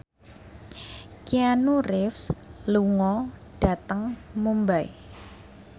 Keanu Reeves lunga dhateng Mumbai